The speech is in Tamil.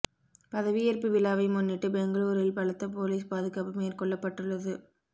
பதவியேற்பு விழாவை முன்னிட்டு பெங்களூரில் பலத்த போலீஸ் பாதுகாப்பு மேற்கொள்ளப்பட்டுள்ளது